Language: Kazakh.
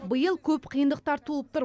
биыл көп қиындықтар туып тұр